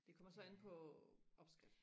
det kommer så an på opskrift